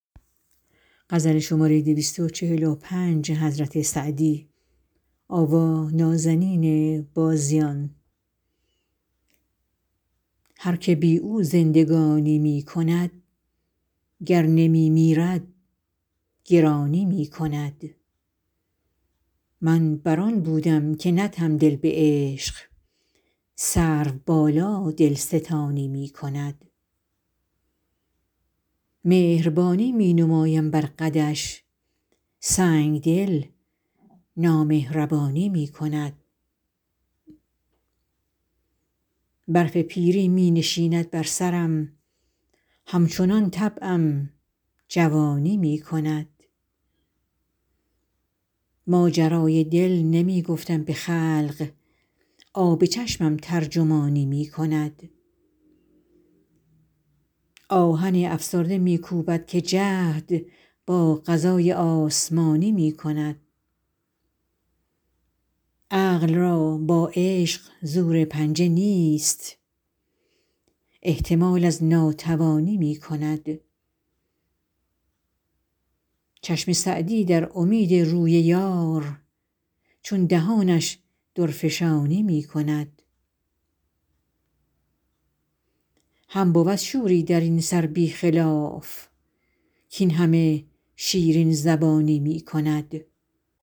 هر که بی او زندگانی می کند گر نمی میرد گرانی می کند من بر آن بودم که ندهم دل به عشق سروبالا دلستانی می کند مهربانی می نمایم بر قدش سنگدل نامهربانی می کند برف پیری می نشیند بر سرم همچنان طبعم جوانی می کند ماجرای دل نمی گفتم به خلق آب چشمم ترجمانی می کند آهن افسرده می کوبد که جهد با قضای آسمانی می کند عقل را با عشق زور پنجه نیست احتمال از ناتوانی می کند چشم سعدی در امید روی یار چون دهانش درفشانی می کند هم بود شوری در این سر بی خلاف کاین همه شیرین زبانی می کند